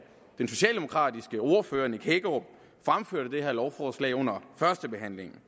den socialdemokratiske ordfører herre nick hækkerup fremførte holdningen det her lovforslag under førstebehandlingen